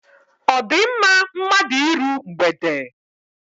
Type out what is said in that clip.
Ọ di mma mmadụ iru mgbede?